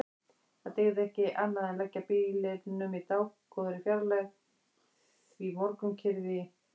Það dygði ekki annað en leggja bílnum í dágóðri fjarlægð því morgunkyrrð í